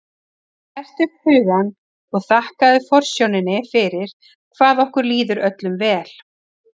Hertu upp hugann og þakkaðu forsjóninni fyrir hvað okkur líður öllum vel.